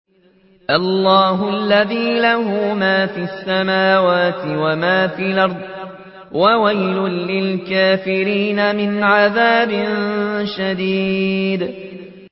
اللَّهِ الَّذِي لَهُ مَا فِي السَّمَاوَاتِ وَمَا فِي الْأَرْضِ ۗ وَوَيْلٌ لِّلْكَافِرِينَ مِنْ عَذَابٍ شَدِيدٍ